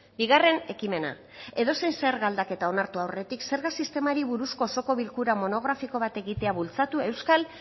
bigarren ekimena edozein zerga aldaketa onartu aurretik zerga sistemari buruzko osoko bilkura monografiko bat egitera bultzatu euskal